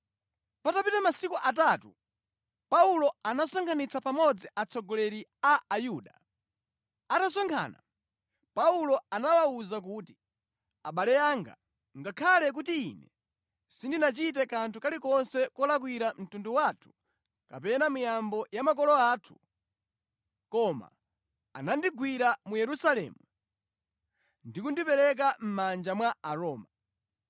Patapita masiku atatu, Paulo anasonkhanitsa pamodzi atsogoleri a Ayuda. Atasonkhana, Paulo anawawuza kuti, “Abale anga, ngakhale kuti ine sindinachite kanthu kalikonse kulakwira mtundu wathu kapena miyambo ya makolo athu, koma anandigwira mu Yerusalemu ndi kundipereka mʼmanja mwa Aroma.